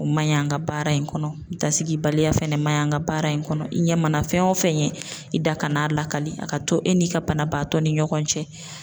O ma ɲi an ka baara in kɔnɔ dasigi baliya fɛnɛ ma ɲi an ka baara in kɔnɔ. I ɲɛ mana fɛn o fɛn ɲɛ i da kan'a lakali. A ka to e n'i ka banabaatɔ ni ɲɔgɔn cɛ.